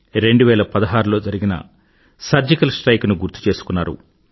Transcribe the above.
2016లో జరిగిన surgical strike ను గుర్తుచేసుకున్నారు